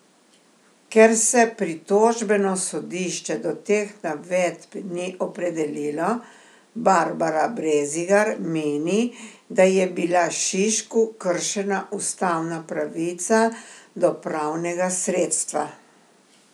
Ker se pritožbeno sodišče do teh navedb ni opredelilo, Barbara Brezigar meni, da je bila Šišku kršena ustavna pravica do pravnega sredstva.